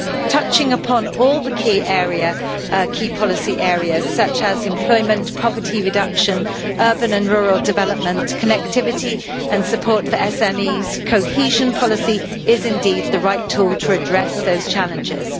Touching upon all the key policy areas such as employment, poverty reduction, urban and rural development, connectivity and support for SMEs cohesion policy is indeed the right tool to address those challenges.